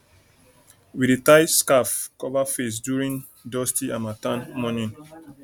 we dey tie scarf cover face during dusty harmattan morning